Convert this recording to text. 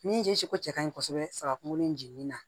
Min ji ko cɛ ka ɲi kɔsɛbɛ saga kungo in jiginin na